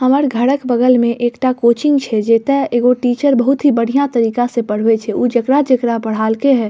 हमर घरक बगल में एकटा कोचिंग छै जता एगो टीचर बहुत ही बढ़िया तरीका से पढ़बे छै ऊ जेकरा-जेकरा पढ़ाल के हई --